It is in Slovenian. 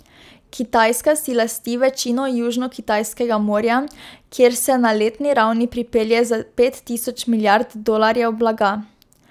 Kitajska si lasti večino Južnokitajskega morja, kjer se na letni ravni prepelje za pet tisoč milijard dolarjev blaga.